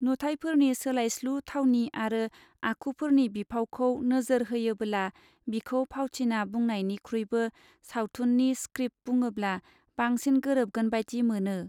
नुथायफोरनि सोलायस्लु थावनि आरो आखुफोरनि बिफावखौ नोजोर होयोबोला बिखौ फावथिना बुंनानयनिख्रुइबो साबथुननि स्क्रीप्त बुङोब्ला बांसिन गोरोबगोनबादि मोनो.